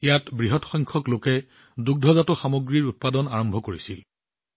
ইয়াত বৃহৎ সংখ্যক লোকে দুগ্ধৰ কাম আৰম্ভ কৰিলে